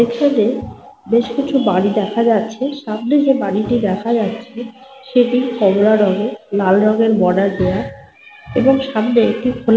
পিছনে বেশ কিছু বাড়ি দেখা যাচ্ছে। সামনে যে বাড়িটি দেখা যাচ্ছে সেটি কমলা রঙের লাল রঙের বর্ডার দেওয়া। এবং সামনে একটি খোলা --